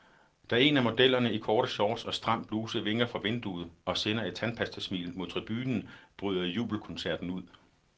Da en af modellerne i korte shorts og stram bluse vinker fra vinduet, og sender et tandpastasmil mod tribunen, bryder jubelkoncerten ud.